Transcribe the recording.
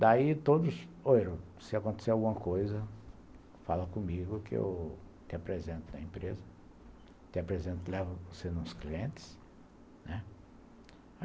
Daí todos, se acontecer alguma coisa, fala comigo que eu te apresento na empresa, te apresento, te levo nos clientes, né.